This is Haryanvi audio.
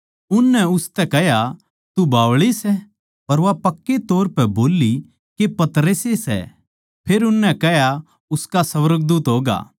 उननै उसतै कह्या तू बावळी सै पर वा पक्के तौर तै बोल्ली के पतरस ए सै फेर उननै कह्या उसका सुर्गदूत होगा